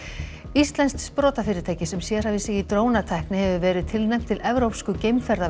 íslenskt sprotafyrirtæki sem sérhæfir sig í drónatækni hefur verið tilnefnt til evrópsku